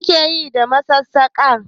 Me ake Yi da masassaka?